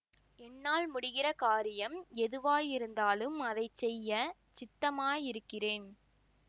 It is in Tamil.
என்னால் முடிகிற காரியம் எதுவாயிருந்தாலும் அதை செய்ய சித்தமாயிருக்கிறேன்